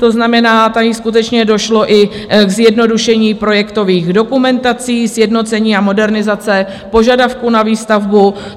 To znamená, tady skutečně došlo i k zjednodušení projektových dokumentací, sjednocení a modernizaci požadavků na výstavbu.